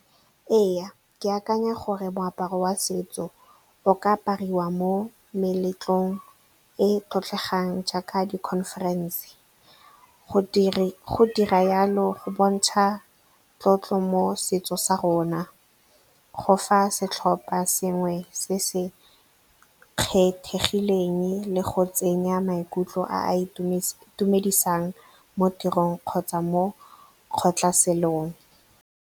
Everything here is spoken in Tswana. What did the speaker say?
Ee, ke akanya gore moaparo wa setso o ka apariwa mo meletlong e e tlotlegang jaaka di-conference. Go dira jalo go bontsha tlotlo mo setso sa rona, go fa setlhopha se sengwe se se kgethegileng le go tsenya maikutlo a a itumedisang mo tirong kgotsa mo kgotlhaselong.